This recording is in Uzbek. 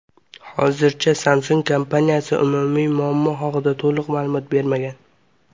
Hozircha Samsung kompaniyasi ushbu muammo haqida to‘liq ma’lumot bermagan.